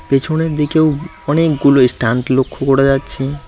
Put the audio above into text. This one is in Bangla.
পিছনের দিকেও অনেকগুলো এস্ট্যান্ড লক্ষ্য করা যাচ্ছে।